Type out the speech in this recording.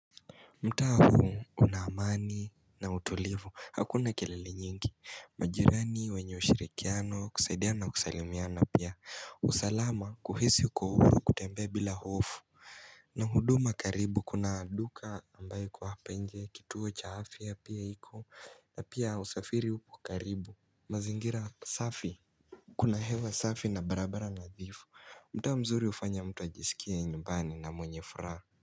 Mtaa una amani na utulivu hakuna kelele nyingi majirani wenye ushirikiano kusaidiana kusalimiana pia usalama kuhisi uko uhuru kutembea bila hofu na huduma karibu kuna duka ambayo iko hapa nje kituo cha afya pia iko na pia usafiri upo karibu mazingira safi Kuna hewa safi na barabara nadhifu mtaa mzuri hufanya mtu ajisikie nyumbani na mwenye furaha.